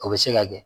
O bɛ se ka kɛ